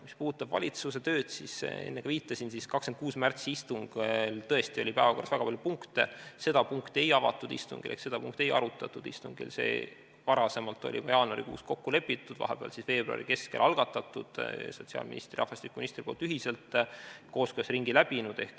Mis puudutab valitsuse tööd, siis enne ka viitasin, et 26. märtsi istungi päevakorras oli väga palju punkte, seda punkti ei avatud istungil ehk seda punkti ei arutatud, see oli juba jaanuarikuus kokku lepitud, vahepeal, veebruari keskel sotsiaalministri ja rahvastikuministri poolt ühiselt algatatud, kooskõlastusringi läbinud.